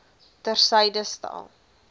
ter syde stel